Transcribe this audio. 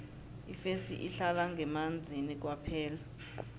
ifesi ihlala ngemanzini kwaphela